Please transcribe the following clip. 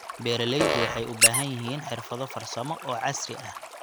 Beeraleydu waxay u baahan yihiin xirfado farsamo oo casri ah.